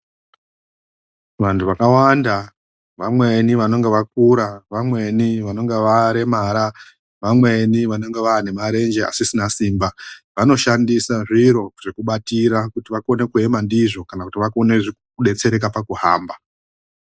VANTU VAKAWANDA VAMWENI VANONGA VAKURA ,VAMWENI vanoNGA VAREMARA ,VAMWENI VANONGA VAANE MARENJE ASISINA SIMBA VANOSHANDISA ZVIRO ZVEKUBATIRA ZVEKUEMA NDIZVO kuti vadetsereke PAKUHAMBA.